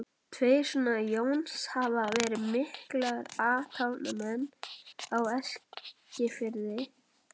Tveir sona Jóns hafa verið miklir athafnamenn á Eskifirði, þeir